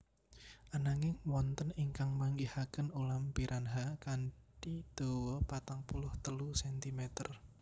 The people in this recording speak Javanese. Ananging wonten ingkang manggihaken ulam piranha kanthi dawa patang puluh telu sentimeter